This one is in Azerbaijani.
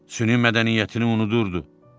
Süni mədəniyyətini unudurdu.